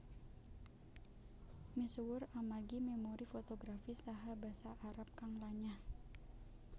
Misuwur amargi memori fotografis saha Basa Arab kang lanyah